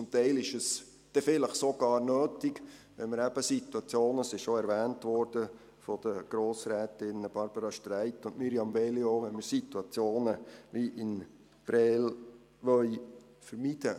Teilweise ist es dann sogar nötig, wenn wir eben Situationen wie in Prêles, die schon von den Grossrätinnen Barbara Streit und Mirjam Veglio erwähnt wurden, neu vermeiden wollen.